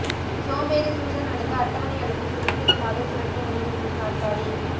சோம்பேறி சூசன் அல்லது அட்டவணை அல்லது சுதந்திரமாக சுழற்ற முடியும் என்று நாற்காலி